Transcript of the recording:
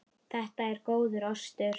Þetta er góður ostur.